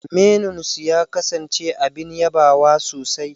Menunsu ya kasance abin yabawa sosai.